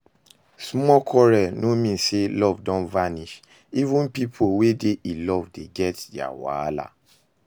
Small quarrel no mean say love don vanish, even pipo wey dey in love dey get their wahala